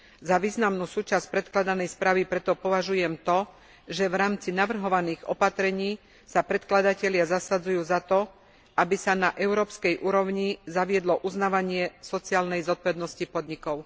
Za významnú súčasť predkladanej správy preto považujem to, že v rámci navrhovaných opatrení sa predkladatelia zasadzujú za to, aby sa na európskej úrovni zaviedlo uznávanie sociálnej zodpovednosti podnikov.